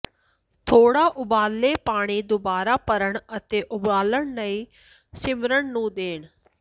ਥੋੜ੍ਹਾ ਉਬਾਲੇ ਪਾਣੀ ਦੁਬਾਰਾ ਭਰਨ ਅਤੇ ਉਬਾਲਣ ਲਈ ਮਿਸ਼ਰਣ ਨੂੰ ਦੇਣ